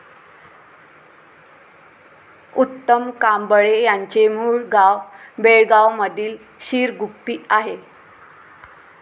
उत्तम कांबळे यांचे मूळ गाव बेळगांवमधील शिरगुप्पी आहे.